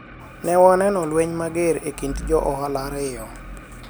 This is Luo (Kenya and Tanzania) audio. ne waneno lweny mager e kind jo ohala ariyo